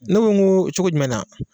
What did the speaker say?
Ne ko n ko cogo jumɛn na ?